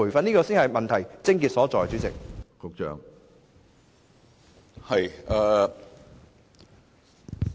主席，這才是問題的癥結所在。